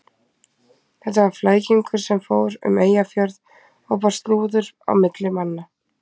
Þetta var flækingur sem fór um Eyjafjörð og bar slúður á milli manna.